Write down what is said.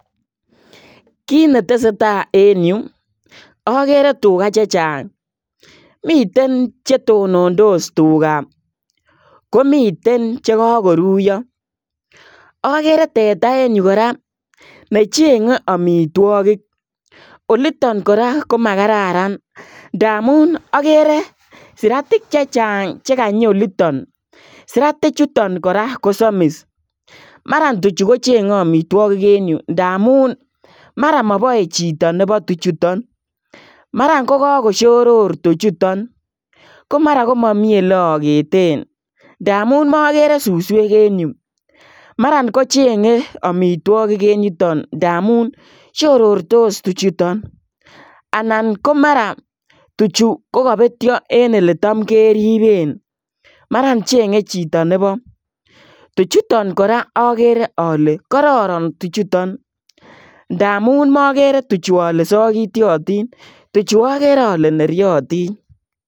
Kiit ne tesetai en Yuu agere tugaa chechaang miten che tonondos tugaa komiteen che kagoruyaa agere teta en Yuu kora ne chenge amitwagiik olitaan kora ko magararan agere siratik chechaang che kanyii olitoon siratik chutoon kora ko samis maran tuchuu ko chenge amitwagiik en ndamuun mara mabae chitoo nebo tuchuu taan mara ko kagoshoror tuchuutaan ko mara ko mara komamii ole aketeen ndamuun magere susweek en yuu maran kochenge amitwagiik en yutoon ndamuun shorostos tuchuutaan anan ko mara ko tuchuu ko kabetyee en ele taam keribeen maraan chenge chitoo nebo tuchuutaan kora agere ale kororon tuchuutaan ndamuun magere ale sagiatiation tuchuu agere ale neriatiin.